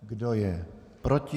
Kdo je proti?